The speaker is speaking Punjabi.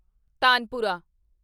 ਤਾਨਪੁਰਾ